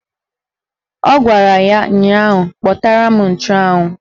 Ọ gwara ya ụnyaahụ "Kpatara m nchụanwụ"!